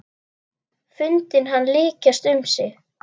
Fundið hann lykjast um sig.